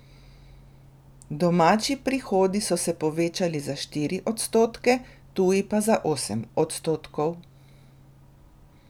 Domači prihodi so se povečali za štiri odstotke, tuji pa za osem odstotkov.